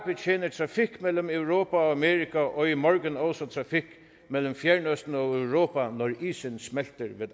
betjener trafik mellem europa og amerika og i morgen også trafik mellem fjernøsten og europa når isen smelter ved